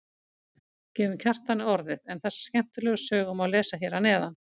Gefum Kjartani orðið en þessa skemmtilegu sögu má lesa hér að neðan.